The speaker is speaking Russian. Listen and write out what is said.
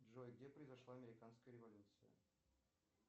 джой где произошла американская революция